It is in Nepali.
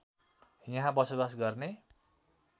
यहाँ बसोवास गर्ने